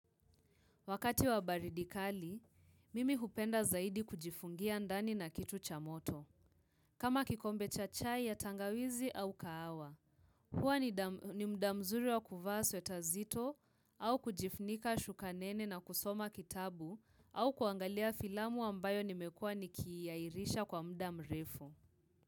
Wakati wa baridi kali, mimi hupenda zaidi kujifungia ndani na kitu cha moto. Kama kikombe cha chai ya tangawizi au kahawa. Huwa ni muda mzuri wa kuvaa sweta zito au kujifunika shuka nene na kusoma kitabu au kuangalia filamu ambayo nimekua nikiihairisha kwa muda mrefu.